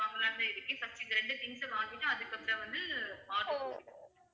வாங்கலாம்ன்னு தான் இருக்கேன் first இந்த ரெண்டு things அ வாங்கிட்டு அதுக்கு அப்புறம் வந்து order பண்ணிக்கறேன்